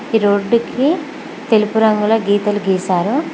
ఈ రోడ్డుకి తెలుపు రంగులో గీతలు గీసారు.